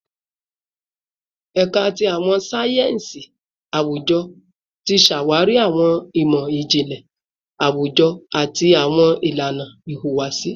Ẹka ti Awọn sáyẹnsì Awujọ ti ṣawari awọn imọ-jinlẹ awujọ ati awọn ilana ihuwasi